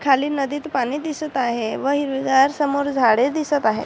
खाली नदीत पानी दिसत आहे व हिरवीगार समोर झाडे दिसत आहे.